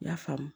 I y'a faamu